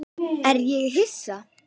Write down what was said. Er ég Hissa?